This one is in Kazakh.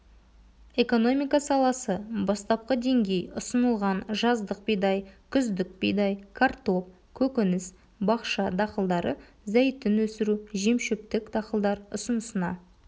экономика саласы бастапқы деңгей ұсынылған жаздық бидай күздік бидай картоп көкөніс бақша дақылдары зәйтүн өсіру жемшөптік дақылдар ұсынысына